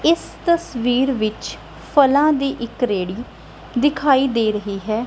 ਇਸ ਤਸਵੀਰ ਵਿੱਚ ਫਲਾਂ ਦੀ ਇੱਕ ਰੇੜੀ ਦਿਖਾਈ ਦੇ ਰਹੀ ਹੈ।